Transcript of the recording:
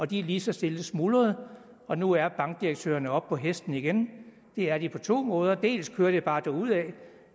de er lige så stille smuldret og nu er bankdirektørerne oppe på hesten igen det er de på to måder dels kører de bare derudad